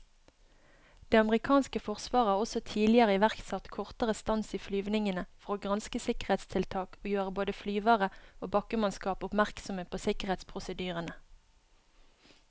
Det amerikanske forsvaret har også tidligere iverksatt kortere stans i flyvningene for å granske sikkerhetstiltak og gjøre både flyvere og bakkemannskap oppmerksomme på sikkerhetsprosedyrene.